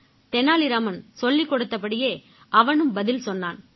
தெனாலி ராமன் சொல்லிக் கொடுத்தபடியே அவனும் பதில் சொன்னான்